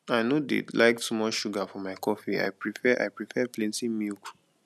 i no dey like too much sugar for my coffee i prefare i prefare plenty milk